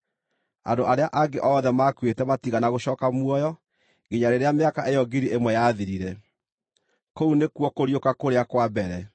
(Andũ arĩa angĩ othe maakuĩte matiigana gũcooka muoyo, nginya rĩrĩa mĩaka ĩyo ngiri ĩmwe yathirire.) Kũu nĩkuo kũriũka kũrĩa kwa mbere.